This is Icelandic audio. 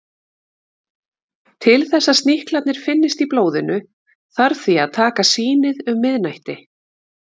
Til þess að sníklarnir finnist í blóðinu þarf því að taka sýnið um miðnætti.